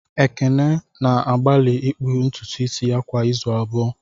Ekene na-agbalị ịkpụ ntutu isi ya kwa izu abụọ